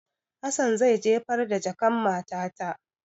Hassan zai jefar da jakan matata.